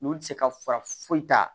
N'olu ti se ka fura foyi ta